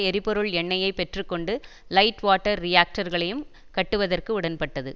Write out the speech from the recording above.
எரிபொருள் எண்ணெயைப் பெற்று கொண்டு லைட் வாட்டர் ரீஆக்டர்களையும் கட்டுவதற்கு உடன்பட்டது